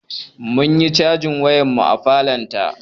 Munyi cajin wayar mu a falon ta